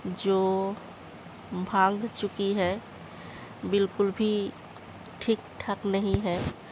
जो भांग चुकी है बिल्कुल भी ठीक-ठाक नहीं है।